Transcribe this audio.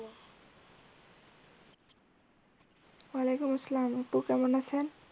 ওয়ালাইকুম আপু কেমন আছেন?